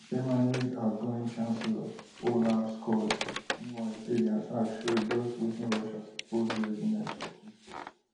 germanys outgoing chancellor olaf scholz meanwhile say di attack show just wetin russia supposed readiness for peace worth